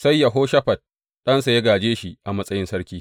Sai Yehoshafat ɗansa ya gāje shi a matsayin sarki.